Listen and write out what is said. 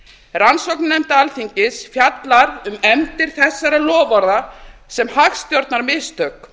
rannsóknarnefnd alþingis fjallar um efndir þessara loforða sem hagstjórnarmistök